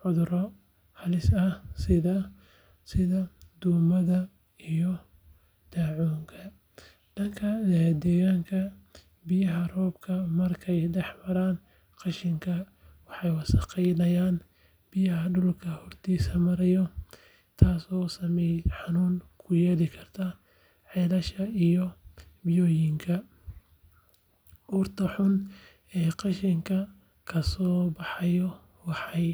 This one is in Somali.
cudurro halis ah sida duumada iyo daacuunka. Dhanka deegaanka, biyaha roobka markay dhex maraan qashinka waxay wasakheeyaan biyaha dhulka hoostiisa maraya taasoo saameyn xun ku yeelan karta ceelasha iyo ilo-biyoodka. Urta xun ee qashinka ka soo baxaysa waxay